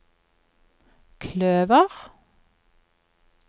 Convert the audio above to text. kløver